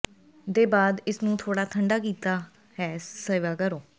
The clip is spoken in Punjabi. ਦੇ ਬਾਅਦ ਇਸ ਨੂੰ ਥੋੜ੍ਹਾ ਠੰਢਾ ਕੀਤਾ ਹੈ ਸੇਵਾ ਕਰੋ